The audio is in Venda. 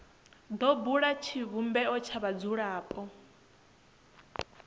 do bula tshivhumbeo tsha vhadzulapo